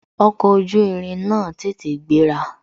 Ọkọ̀ ojú irin náà tètè gbéra